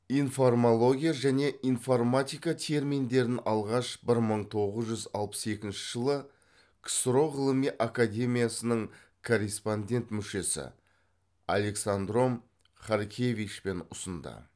информология және информатика терминдерін алғаш бір мың тоғыз жүз алпыс екінші жылы ксро ғылыми академиясының корреспондент мүшесі александром харкевичпен ұсынды